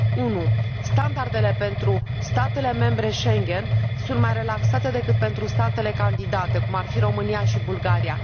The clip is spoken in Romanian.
1 Standardele pentru statele membre Schengen sunt mai relaxate decât pentru statele candidate, cum ar fi România și Bulgaria.